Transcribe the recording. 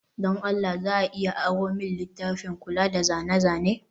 don Allah za a iya aro min littafin kula da zane-zane?